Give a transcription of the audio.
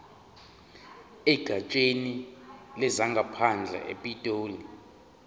egatsheni lezangaphandle epitoli